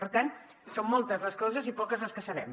per tant són moltes les coses i poques les que sabem